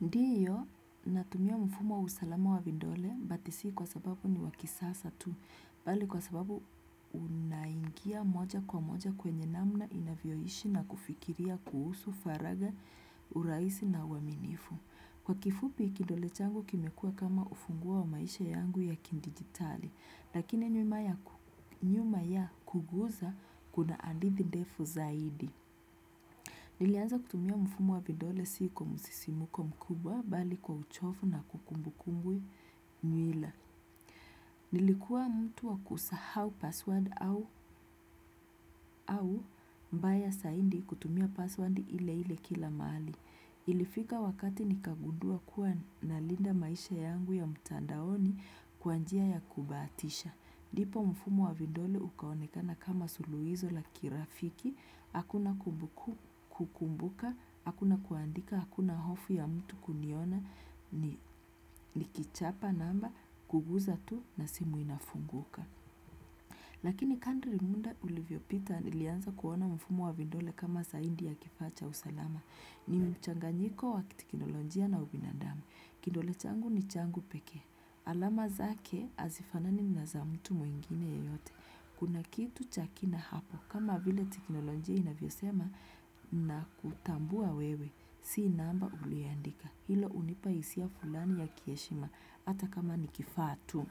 Ndiyo natumia mfumo wa usalama wa vidole, but si kwa sababu niwa kisasa tu, mbali kwa sababu unaingia moja kwa moja kwenye namna inavyoishi na kufikiria kuhusu, faraga, urahisi na uaminifu. Kwa kifupi, kidole changu kimekua kama ufunguo wa maisha yangu yakidigitali, lakini nyuma ya kuguza kuna hadithi ndefu zaidi. Nilianza kutumia mfumo wa vidole si kwa msisimuko mkubwa, mbali kwa uchovu na kukumbukumbu mila. Nilikuwa mtu wa kusahau password au mbaya zaidi kutumia password ile ile kila mahali. Ilifika wakati nikagundua kuwa nalinda maisha yangu ya mtandaoni kwa njia ya kubahatisha. Ndipo mfumo wa vidole ukaonekana kama suluhisho la kirafiki, hakuna kukumbuka, hakuna kuandika, hakuna hofu ya mtu kuniona, nikichapa namba, kuguza tu na simu inafunguka. Lakini kadri muda ulivyopita nilianza kuona mfumo wa vidole kama zaidi ya kifa cha usalama. Ni mchanganyiko wa kiteknolojia na ubinadamu. Kidole changu ni changu pekee. Alama zake hazifanani na za mtu mwingine yeyote. Kuna kitu cha kina hapo, kama vile teknoloji inavyosema na kutambua wewe. Si namba uliandika. Hilo hunipa hisia fulani ya kiheshima hata kama nikifaa tu.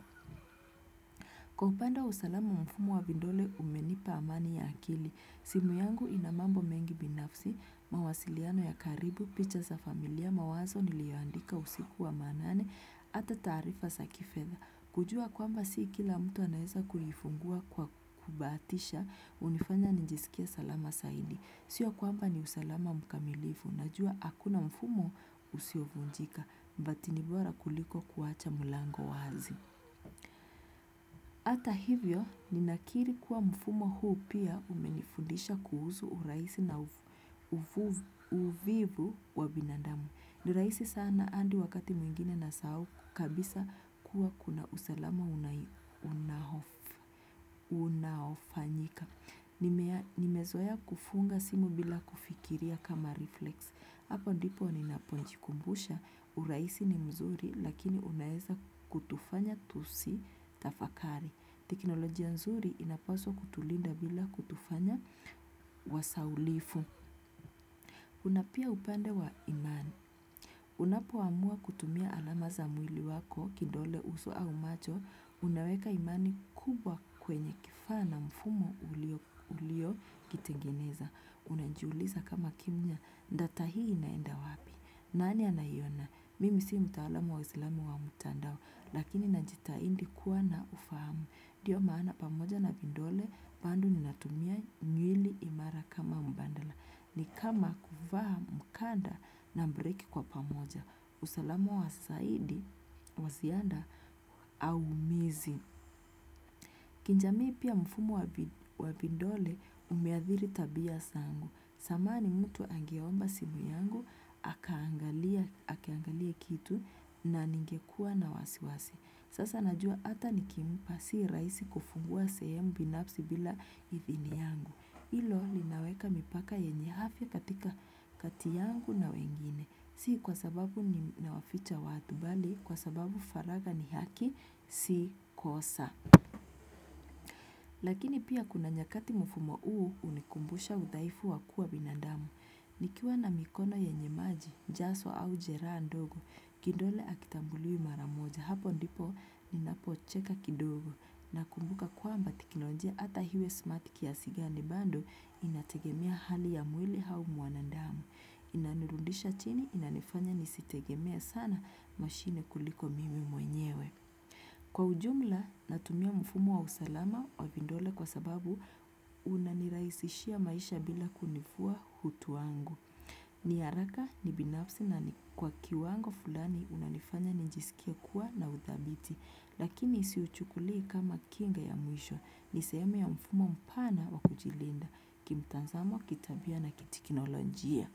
Kwa upande wa usalama, mfumo wa vidole umenipa amani ya akili. Simu yangu ina mambo mengi binafsi, mawasiliano ya karibu, picha za familia, mawazo niliyoandika usiku wa manane, ata taarifa za kifedha. Kujua kwamba si kila mtu anaweza kuifungua kwa kubahatisha, hunifanya nijisikie salama zaidi. Sio kwamba ni usalama mkamilifu, najua hakuna mfumo usiovunjika, but ni bora kuliko kuacha mlango wazi. Hata hivyo, ninakiri kuwa mfumo huu pia umenifundisha kuhusu urahisi na uvivu wa binadamu. Ni rahisi sana hadi wakati mwingine nasahau kabisa kuwa kuna usalama unaofanyika. Nimezoea kufunga simu bila kufikiria kama reflex. Hapo ndipo ninapojikumbusha, urahisi ni mzuri lakini unaeza kutufanya tusitafakari. Teknolojia nzuri inapaswa kutulinda bila kutufanya wasahaulifu. Kuna pia upande wa imani. Unapoamua kutumia alama za mwili wako, kidole, uso au macho, unaweka imani kubwa kwenye kifaa na mfumo uliokitengeneza. Unajiuliza kama kimya, data hii naenda wapi? Nani anaiona? Mimi si mtaalamu wa usalama wa mtandao, lakini najitahidi kuwa na ufahamu. Ndio maana pamoja na vidole, bado ninatumia ngili imara kama mbadala. Ni kama kuvaa mkanda na breki kwa pamoja. Usalama wa zaidi, waziada, au mizi. Kijamii pia mfumo wa vidole umeadhiri tabia sana. Zamani mtu angeoamba simu yangu, akiangalia kitu na ningekua na wasiwasi. Sasa najua ata nikimpa si rahisi kufungua sehemu binafsi bila idhini yangu. Hilo linaweka mipaka yenye afya katika kati yangu na wengine. Si kwa sababu ninawaficha watu bali, kwa sababu faragha ni haki si kosa. Lakini pia kuna nyakati mfumo huu hunikumbusha udhaifu wa kuwa binadamu. Nikiwa na mikono yenye maji, haswa au jeraa ndogo, kidole hakitambuliwi mara moja hapo ndipo ninapocheka kidogo. Nakumbuka kwamba teknolojia ata iwe smart kiasi gani bado inategemea hali ya mwili au mwanadamu. Inanirudisha chini inanifanya nisitegemea sana mashini kuliko mimi mwenyewe. Kwa ujumla natumia mfumo wa usalama wa vidole kwa sababu unanirahisishia maisha bila kunivua hutu wangu. Ni haraka ni binafsi na ni kwa kiwango fulani unanifanya nijisikie kuwa na udhabiti. Lakini si uchukuli kama kinga ya mwisho ni sehemu ya mfumo mpana wa kujilinda kimtazamo kitabia na kiteknolojia.